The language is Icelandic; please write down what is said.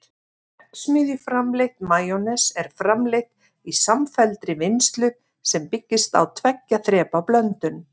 verksmiðjuframleitt majónes er framleitt í samfelldri vinnslu sem byggist á tveggja þrepa blöndun